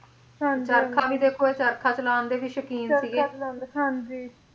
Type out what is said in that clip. ਚਰਖਾ ਵੀ ਦੇਖੋ ਇਹ ਚਰਖਾ ਚਲਾਉਣ ਦੇ ਵੀ ਸ਼ੌਕੀਨ ਸੀਗੇ ਚਰਖਾ ਚਲਾਉਂਦੇ ਹਾਂਜੀ